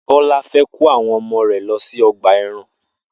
Bó̩lá fe̩ kó àwo̩n o̩mo̩ rè̩ lo̩ sí o̩gbà e̩ran